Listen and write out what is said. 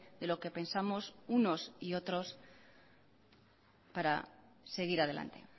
de lo que pensamos unos y otros para seguir adelante